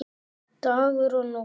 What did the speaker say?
Dagur og Nótt.